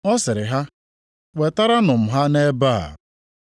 Ọ sịrị ha, “Wetaranụ m ha nʼebe a.”